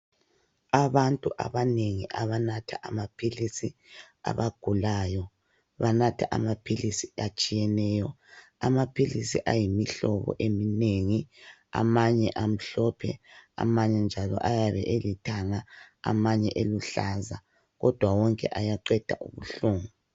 Abantu abanengi abanatha amaphilisi abagulayo banatha amaphilisi atshiyeneyo . Amaphilisi ayimihlobo eminengi, amanye amhlophe, amanye njalo ayabe elithanga, amanye eluhlaza kodwa wonke ayaqeda ubuhlungu.